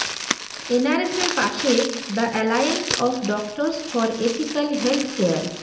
এনআরএসের পাশে the alliance of doctors for ethical healthcare